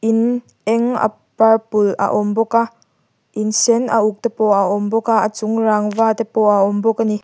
in eng a purple a awm bawk a in sen a uk te pawh a awm bawk a a chung rangva te pawh a awm bawk a ni.